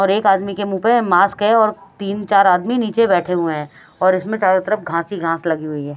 और एक आदमी के मुँह पे मास्क है और तीन चार आदमी नीचे बैठे हुए हैं और इसमें चारों तरफ घांस ही घांस लगी हुई है।